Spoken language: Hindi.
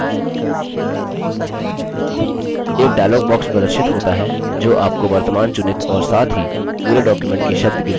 एक dialog box प्रदर्शित होता है जो आपको वर्तमान चुनित और साथ ही पूरे document की शब्द गिनती बताता है